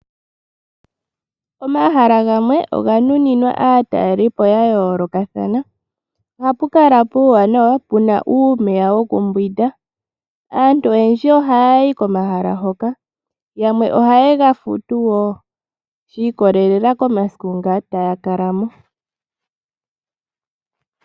Omahala gamwe oga nuninwa aatalelipo ya yoolokathana. Ohapu kala puuwanawa puna uumeya wokuyoga. Aantu oyendji ohaya yi komahala hoka. Yamwe ohaye ga futu wo shi ikolelela komasiku nga taya kala mo.